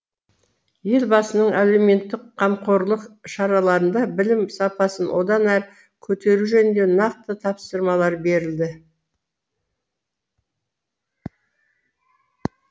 елбасының әлеуметтік қамқорлық шараларында білім сапасын одан әрі көтеру жөнінде нақты тапсырмалар берілді